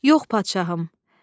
"Yox, padşahım.